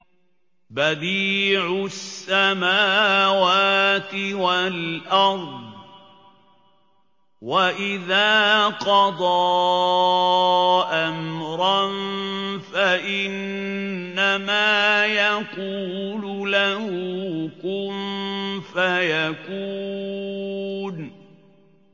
بَدِيعُ السَّمَاوَاتِ وَالْأَرْضِ ۖ وَإِذَا قَضَىٰ أَمْرًا فَإِنَّمَا يَقُولُ لَهُ كُن فَيَكُونُ